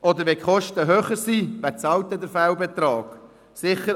Oder wer bezahlt den Fehlbetrag, wenn die Kosten höher sind?